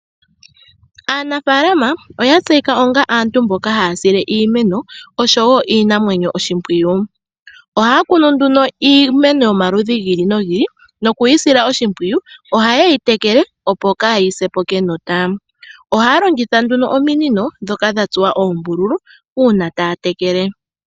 Aanafaalama oya tseyika onga aantu mboka haya sile iimeno oshowo iinamwenyo oshimpwiyu. Ohaya kunu nduno iimeno yomaludhi gi ili nogi ili noku yi sila oshimpwiyu. Ohaye yi tekele opo kaayi se po kenota. Ohaya longitha nduno ominino ndhoka dha tsuwa oombululu, uuna taya tekele.